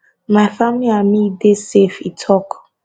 my family and me dey safe e tok